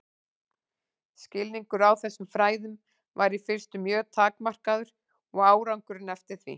Skilningur á þessum fræðum var í fyrstu mjög takmarkaður og árangurinn eftir því.